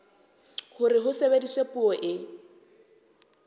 hore ho sebediswe puo e